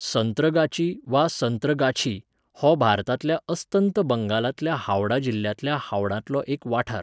संत्रगाची वा संत्रगाछी हो भारतांतल्या अस्तंत बंगालांतल्या हावड़ा जिल्ल्यांतल्या हावडांतलो एक वाठार.